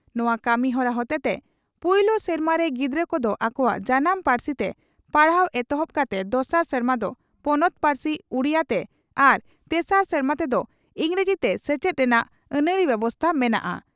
ᱱᱚᱣᱟ ᱠᱟᱹᱢᱤᱦᱚᱨᱟ ᱦᱚᱴᱮᱛᱮ ᱯᱩᱭᱞᱩ ᱥᱮᱨᱢᱟ ᱨᱮ ᱜᱤᱫᱽᱨᱟᱹ ᱠᱚᱫᱚ ᱟᱠᱚᱣᱟᱜ ᱡᱟᱱᱟᱢ ᱯᱟᱹᱨᱥᱤᱛᱮ ᱯᱟᱲᱦᱟᱣ ᱮᱛᱚᱦᱚᱵ ᱠᱟᱛᱮ ᱫᱚᱥᱟᱨ ᱥᱮᱨᱢᱟ ᱫᱚ ᱯᱚᱱᱚᱛ ᱯᱟᱹᱨᱥᱤ (ᱩᱰᱤᱭᱟᱹ) ᱛᱮ ᱟᱨ ᱛᱮᱥᱟᱨ ᱥᱮᱨᱢᱟ ᱛᱮᱫᱚ ᱤᱸᱜᱽᱨᱟᱡᱤᱛᱮ ᱥᱮᱪᱮᱫ ᱨᱮᱱᱟᱜ ᱟᱹᱱᱟᱹᱨᱤ ᱵᱮᱵᱚᱥᱛᱟ ᱢᱮᱱᱟᱜᱼᱟ ᱾